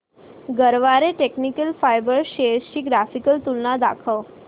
Garware technical fibres shares ची graphical तुलना दाखव